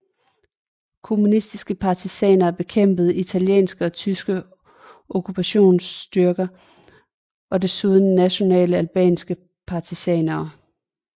Kommunistiske partisaner bekæmpede italienske og tyske okkupationsstyrker og desuden nationale albanske partisaner